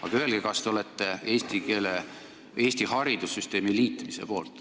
Aga öelge, kas te olete eesti keele, Eesti haridussüsteemi liitmise poolt.